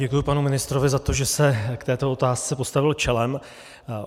Děkuji panu ministrovi za to, že se k této otázce postavil čelem.